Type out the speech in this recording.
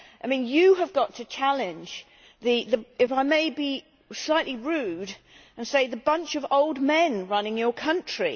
I mean, you have got to challenge if I may be slightly rude and say the bunch of old men running your country.